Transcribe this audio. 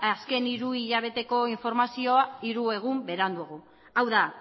azken hiru hilabeteko informazioa hiru egun beranduago hau da